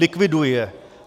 Likviduj je.